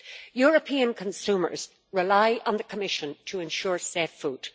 European consumers rely on the Commission to ensure safe food.